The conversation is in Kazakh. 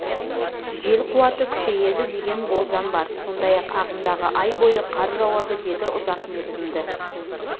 жел қуаты күшейеді деген болжам бар сондай-ақ ағымдағы ай бойы қар жауады деді ұзақ мерзімді